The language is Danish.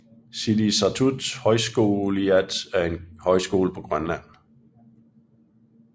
Sulisartut Højskoliat er en højskole på Grønland